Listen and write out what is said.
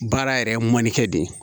Baara yɛrɛ ye mɔnnikɛ de ye